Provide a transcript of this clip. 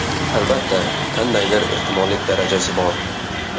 Albatta, qandaydir ehtimollik darajasi bor.